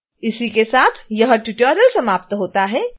इसके साथ ही यह ट्यूटोरियल समाप्त होता है